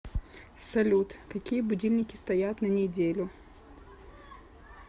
салют какие будильники стоят на неделю